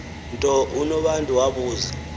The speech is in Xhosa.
nto unobantu wabuza